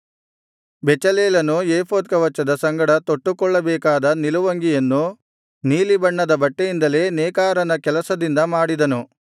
ಬೆಚಲೇಲನು ಏಫೋದ್ ಕವಚದ ಸಂಗಡ ತೊಟ್ಟುಕೊಳ್ಳಬೇಕಾದ ನಿಲುವಂಗಿಯನ್ನು ನೀಲಿಬಣ್ಣದ ಬಟ್ಟೆಯಿಂದಲೇ ನೇಕಾರನ ಕೆಲಸದಿಂದ ಮಾಡಿದನು